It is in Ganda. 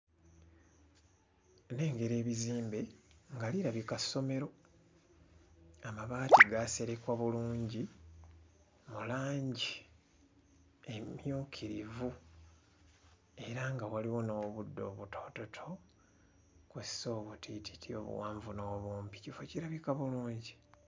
Nnengera ebizimbe nga lirabika ssomero amabaati gaaserekwa bulungi mu langi emmyukirivu era nga waliwo n'obuddo obutoototo kw'ossa obutiititi obuwanvu n'obumpi kifo kirabika bulungi.